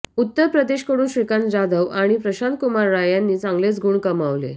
उत्तर प्रदेशकडून श्रीकांत जाधव आणि प्रशांत कुमार राय यांनी चांगले गुण कमावले